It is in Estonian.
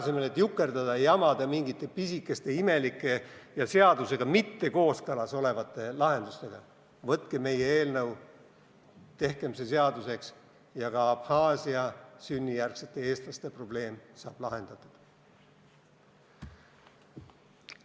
Selle asemel, et jukerdada ja jamada mingite pisikeste imelike ja seadusega mitte kooskõlas olevate lahendustega, võtke meie eelnõu, tehke see seaduseks ja ka Abhaasia sünnijärgsete eestlaste probleem saab lahendatud.